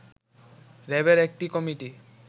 র‍্যাবের একটি কমিটি